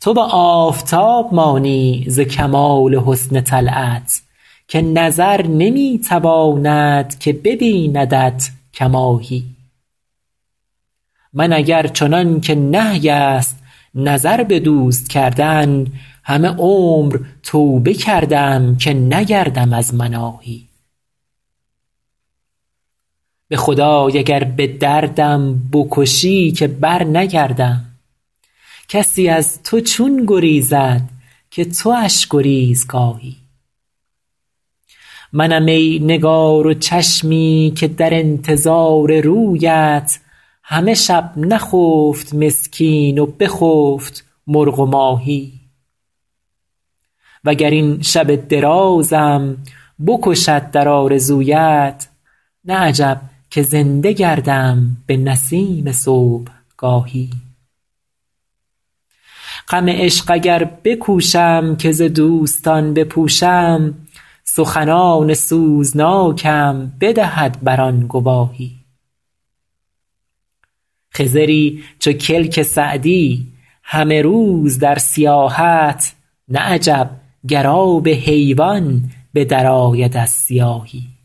تو به آفتاب مانی ز کمال حسن طلعت که نظر نمی تواند که ببیندت کماهی من اگر چنان که نهی است نظر به دوست کردن همه عمر توبه کردم که نگردم از مناهی به خدای اگر به دردم بکشی که برنگردم کسی از تو چون گریزد که تواش گریزگاهی منم ای نگار و چشمی که در انتظار رویت همه شب نخفت مسکین و بخفت مرغ و ماهی و گر این شب درازم بکشد در آرزویت نه عجب که زنده گردم به نسیم صبحگاهی غم عشق اگر بکوشم که ز دوستان بپوشم سخنان سوزناکم بدهد بر آن گواهی خضری چو کلک سعدی همه روز در سیاحت نه عجب گر آب حیوان به درآید از سیاهی